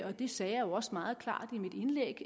og det sagde jeg også meget klart i mit indlæg